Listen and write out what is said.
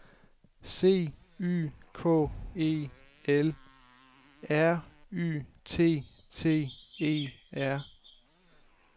C Y K E L R Y T T E R